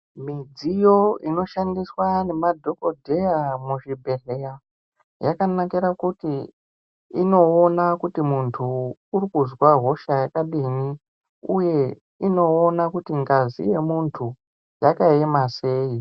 Midziyo inoshandiswa ngemadhokodheya muzvibhedhleya yakanakira kuti inoona kuti muntu urikuzwa hosha yakadini uye inoona kuti ngazi yemuntu uyu yakaema sei.